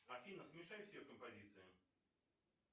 афина смешай все композиции